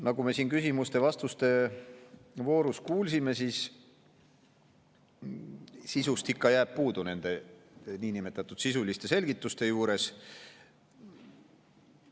Nagu me siin küsimuste-vastuste voorus kuulsime, siis sisust ikka jääb puudu nende niinimetatud sisuliste selgituste juures.